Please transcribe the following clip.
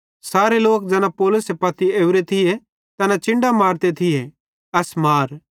सारे लोक ज़ैना पौलुसे पत्ती पेवरे थिये तैना चिन्डां मारते थिये एस मार